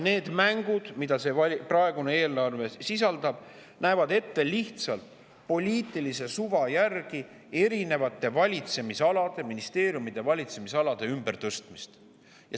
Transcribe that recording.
Need mängud, mida see eelarve sisaldab, näevad ette lihtsalt poliitilise suva järgi erinevate ministeeriumide valitsemisalade ümbertõstmist.